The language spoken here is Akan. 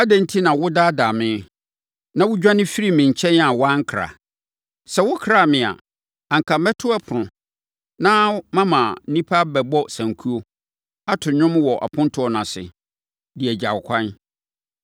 Adɛn enti na wodaadaa me, na wodwane firii me nkyɛn a woankra? Sɛ wokraa me a, anka mɛto wo ɛpono, na mama nnipa abɛbɔ sankuo, ato nnwom wɔ apontoɔ no ase, de agya wo kwan.